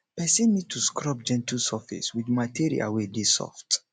person need to scrub gentle surface with material wey dey soft